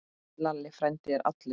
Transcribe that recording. Lalli frændi er allur.